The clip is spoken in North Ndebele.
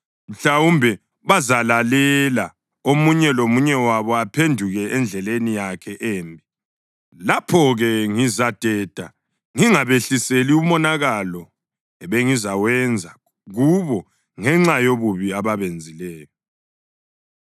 Mhlawumbe bazalalela omunye lomunye wabo aphenduke endleleni yakhe embi. Lapho-ke ngizadeda ngingabehliseli umonakalo ebengizawenza kubo ngenxa yobubi ababenzileyo.